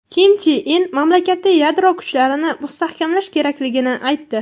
Kim Chen In mamlakat yadro kuchlarini mustahkamlash kerakligini aytdi.